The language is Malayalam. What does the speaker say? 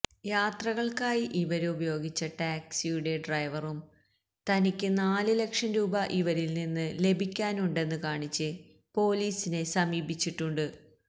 യാത്രകള്ക്കായി ഇവരുപയോഗിച്ച ടാക്സിയുടെ ഡ്രൈവറും തനിക്ക് നാല് ലക്ഷം രൂപ ഇവരില് നിന്ന് ലഭിക്കാനുണ്ടെന്ന് കാണിച്ച് പൊലീസിനെ സമീപിച്ചിട്ടുണ്ട്